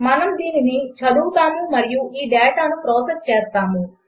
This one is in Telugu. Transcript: మనము దీనిని చదువుతాము మరియు ఈ డేటాను ప్రాసెస్ చేస్తాము